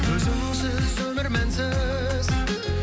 өзіңсіз өмір мәнсіз